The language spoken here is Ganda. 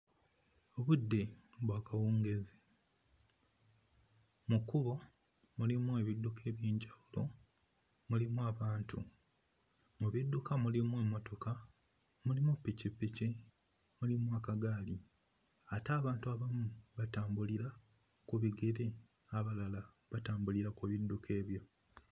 Obudde bwa kawungeezi, mu kkubo mulimu ebidduka eby'enjawulo, mulimu abantu. Mu bidduka mulimu emmotoka, mulimu ppikipiki, mulimu akagaali ate abantu abamu batambulira ku bigere, abalala batambulira ku bidduka ebyo.